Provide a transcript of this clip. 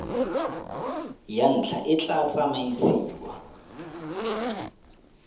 ya ntlha e tla tsamaisiwa